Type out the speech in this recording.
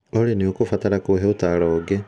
olly nĩ ũkũbatara kũhe ũtaaro ũngĩ